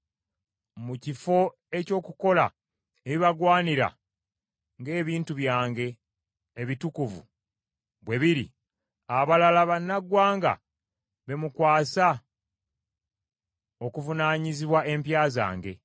Mu kifo eky’okukola ebibagwanira ng’ebintu byange ebitukuvu bwe biri, abalala bannaggwanga be mwakwasa okuvunaanyizibwa empya zange.